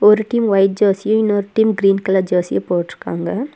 ஒரு team white ஜெர்சியு இன்னொரு டீம் கிரீன் கலர் ஜெர்சியும் போட்ருக்காங்க.